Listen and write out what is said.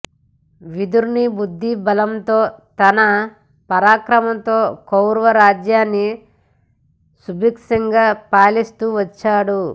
విదురుని బుద్ధి బలంతో తన పరాక్రమంతో కౌరవ రాజ్యాన్ని సుభిక్షంగా పాలిస్తూ వచ్చాడు